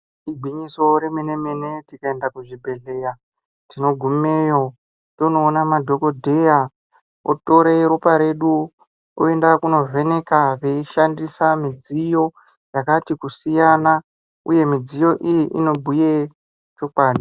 Igwinyiso remene mene tikaenda kuzvibhedhleya tinogumeyo tonoona madhokodheya otore ropa redu oyende kunovheneka veyishandisa mudziyo yakati kusiyana, uye mudziyo iyi inobhuye chokwadi.